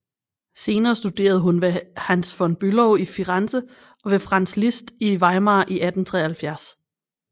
Senere studerede hun ved Hans von Bülow i Firenze og ved Franz Liszt i Weimar i 1873